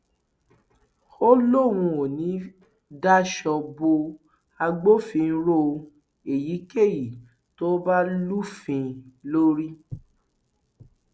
ó lóun ò ní í daṣọ bo agbófinró èyíkéyìí tó bá lufin lórí